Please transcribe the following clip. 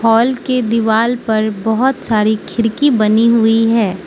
Hall के दीवाल पर बहोत सारी खिड़की बनी हुई है।